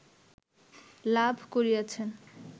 লাভ করিয়াছেন